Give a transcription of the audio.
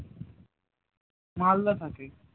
মালদা থাকে